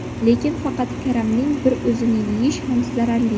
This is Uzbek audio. Lekin faqat karamning bir o‘zini yeyish ham zararli.